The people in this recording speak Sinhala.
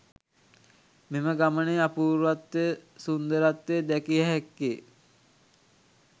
මෙම ගමනේ අපූර්වත්වය, සුන්දරත්වය දැකිය හැක්කේ